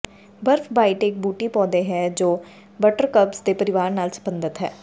ਬਰਫ਼ਬਾਈਟ ਇੱਕ ਬੂਟੀ ਪੌਦੇ ਹੈ ਜੋ ਬਟਰਕਪਜ਼ ਦੇ ਪਰਿਵਾਰ ਨਾਲ ਸਬੰਧਤ ਹੈ